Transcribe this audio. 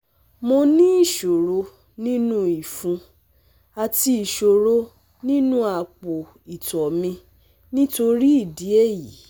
Mo ní ìṣòro inú ifun àti isoro inú apo ito mi nitori idi eyi